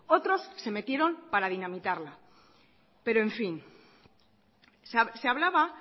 otros se metieron para dinamitarla pero en fin se hablaba